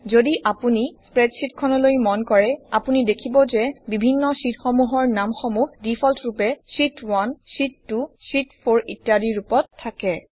যদি আপুনি স্প্ৰেডশ্বিটখনলৈ মন কৰে আপুনি দেখিব যে বিভিন্ন শ্বিটসমূহৰ নামসমূহ ডিফল্টৰূপে শীত 1 শীত2 শীত4 ইত্যাদি ৰূপত থাকে